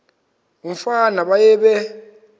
umfana baye bee